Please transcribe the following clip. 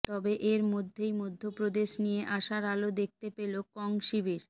তবে এরমধ্যেই মধ্যপ্রদেশ নিয়ে আশার আলো দেখতে পেল কং শিবির